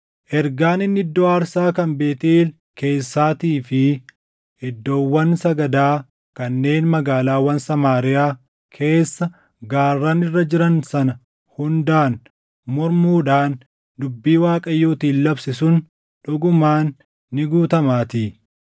Ergaan inni iddoo aarsaa kan Beetʼeel keessaatii fi iddoowwan sagadaa kanneen magaalaawwan Samaariyaa keessa gaarran irra jiran sana hundaan mormuudhaan dubbii Waaqayyootiin labse sun dhugumaan ni guutamaatii.”